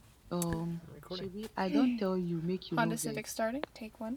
um shebi i don tell you make you no vex